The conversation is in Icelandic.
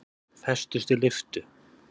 Festust í lyftu